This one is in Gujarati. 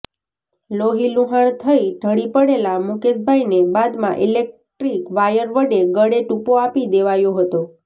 લોહીલુહાણ થઇ ઢળી પડેલા મુકેશભાઇને બાદમાં ઇલેક્ટ્રિક વાયર વડે ગળે ટૂંપો આપી દેવાયો હતો